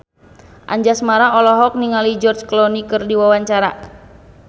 Anjasmara olohok ningali George Clooney keur diwawancara